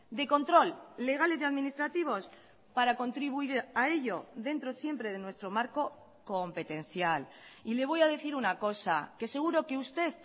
de control legales y administrativos para contribuir a ello dentro siempre de nuestro marco competencial y le voy a decir una cosa que seguro que usted